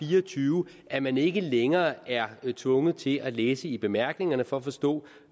fire og tyve at man ikke længere er tvunget til at læse i bemærkningerne for at forstå